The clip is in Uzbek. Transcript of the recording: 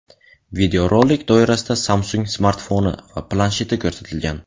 Videorolik doirasida Samsung smartfoni va plansheti ko‘rsatilgan.